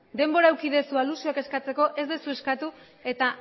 denbora eduki duzu alusioak eskatzeko ez duzu eskatu eta